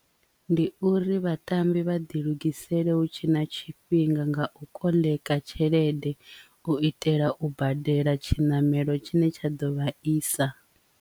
Ndi uri vhatambi vha ḓi lugisela hu tshe na tshifhinga nga u koḽeka tshelede u itela u badela tshinamelo tshine tsha ḓo vha isa.